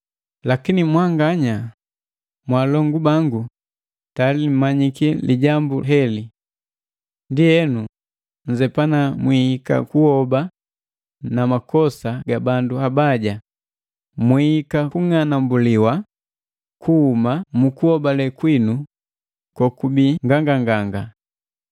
Lakini mwanganya, mwaalongu bangu tayali mmanyiki lijambu heli. Ndienu nnzepana mwihika kuhoba na makosa ga bandu abaja, mwihika kung'anambuliwa kuhuma ku mukuhobale kwinu kokubii nganganganga.